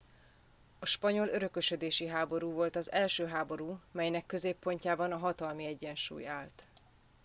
a spanyol örökösödési háború volt az első háború amelynek középpontjában a hatalmi egyensúly állt